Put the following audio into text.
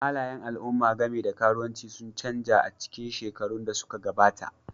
Halayen al'umma game da karuwanci sun canza a cikin shekarun da suka gabata,